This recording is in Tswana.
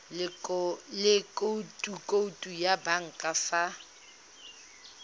le khoutu ya banka fa